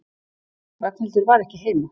Ragnhildur var ekki heima.